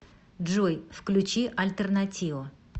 джой включи альтернатио